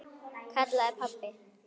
kallaði pabbi.